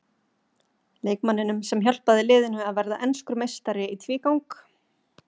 Leikmanninum sem hjálpaði liðinu að verða enskur meistari í tvígang?